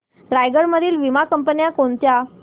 रायगड मधील वीमा कंपन्या कोणत्या